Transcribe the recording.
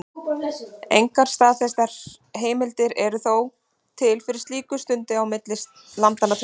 Engar staðfestar heimildir eru þó til fyrir slíku sundi á milli landanna tveggja.